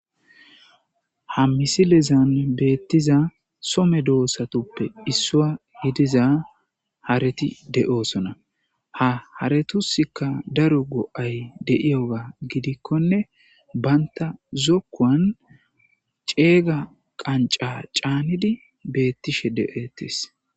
Ha misilezan betiza so medosatupe issuwa giidza hareti de'osona ha haretusika daro go'ay de'iyoga gidikone banta zokuwan cega qanca canidi de'etes